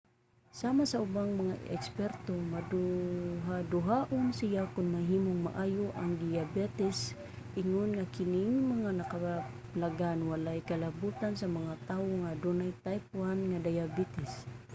sama sa ubang mga eksperto maduhaduhaon siya kon mahimong maayo ang diyabetes ingon nga kining mga nakaplagan walay kalabutan sa mga tawo nga adunay type 1 nga diabetes